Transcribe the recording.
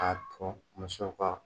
A ko musow ka.